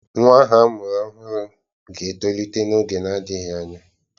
Nwa ahụ amụrụ ọhụrụ ga-etolite n'oge na-adịghị anya.